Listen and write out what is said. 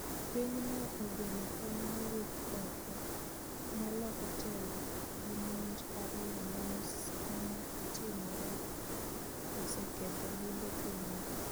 Pinyno ogeno kony mawuok oko ma loko telo gi monj ariyo manotimore oseketho limbe pinyno